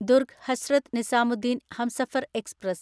Durg Hazrat Nizamuddin Humsafar express